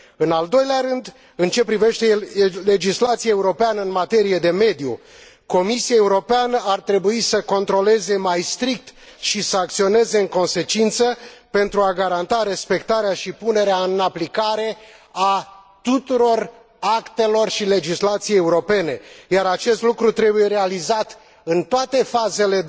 În al doilea rând, în ceea ce privește legislația europeană în materie de mediu, Comisia Europeană ar trebui să controleze mai strict și să acționeze în consecință pentru a garanta respectarea și punerea în aplicare a tuturor actelor și legislației europene, iar acest lucru trebuie realizat în toate fazele